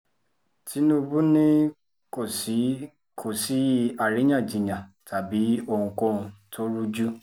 tinúbú ni kò sí kò sí àríyànjiyàn tàbí ohunkóhun tó rújú